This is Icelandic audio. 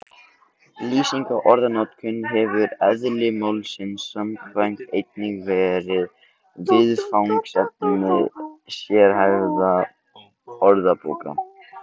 Lýsing á orðanotkun hefur eðli málsins samkvæmt einnig verið viðfangsefni sérhæfðra orðabóka.